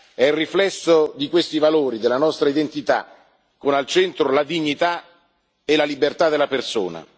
È il riflesso di questi valori, della nostra identità, con al centro la dignità e la libertà della persona.